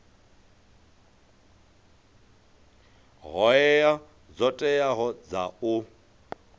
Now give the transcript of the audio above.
hoea dzo teaho dza u